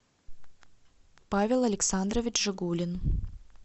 павел александрович жигулин